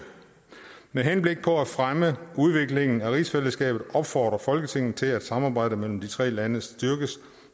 med henblik på at fremme udviklingen af rigsfællesskabet opfordrer folketinget til at samarbejdet mellem de tre lande styrkes